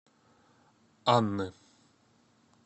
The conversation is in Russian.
анны